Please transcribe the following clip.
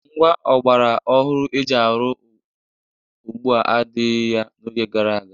Ngwá ọgbara ọhụrụ e ji arụ ugbua adịghị ya n'oge gara aga.